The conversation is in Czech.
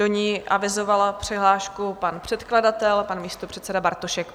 Do ní avizoval přihlášku pan předkladatel, pan místopředseda Bartošek.